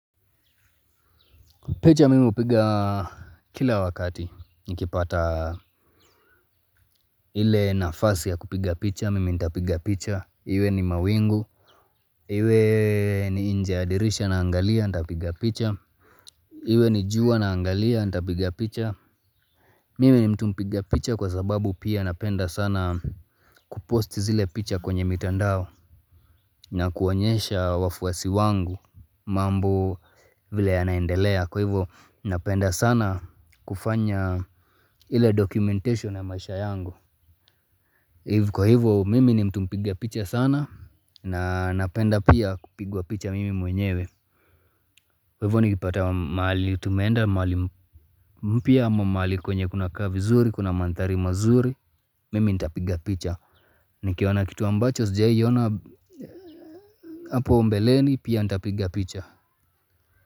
Picha mimi upiga kila wakati, nikipata ile nafasi ya kupiga picha, mimi ntapiga picha, iwe ni mawingu, iwe ni nje ya dirisha naangalia, ntapiga picha, iwe ni jua naangalia, ntapiga picha. Mimi ni mtu mpiga picha kwa sababu pia napenda sana kuposti zile picha kwenye mitandao na kuonyesha wafuasi wangu mambo vile yanaendelea kwa hivo napenda sana kufanya ile documentation ya maisha yangu. Kwa hivyo, mimi ni mtu mpiga picha sana, na napenda pia kupigwa picha mimi mwenyewe. Kwa hivyo nikipata wa mahali tumeenda, mahali mpya ama mahali kwenye kunakaa vizuri, kuna manthari mazuri, mimi ntapiga picha. Nikiona kitu ambacho, sijawai ona hapo mbeleni, pia ntapiga picha.